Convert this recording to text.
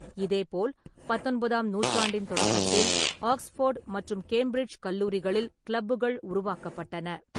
இதேபோல், பத்தொன்பதாம் நூற்றாண்டின் தொடக்கத்தில் ஆக்ஸ்ஃபோர்டு மற்றும் கேம்பிரிட்ஜ் கல்லூரிகளில் கிளப்புகள் உருவாக்கப்பட்டன.